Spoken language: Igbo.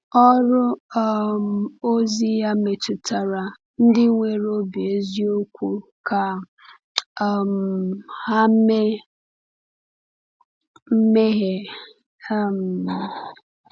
Ọrụ um ozi ya metụtara ndị nwere obi eziokwu ka um ha mee mmehie. um